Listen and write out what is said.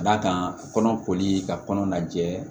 Ka d'a kan kɔnɔ koli ka kɔnɔ lajɛ